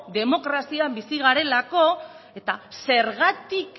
demokrazian bizi garelako eta zergatik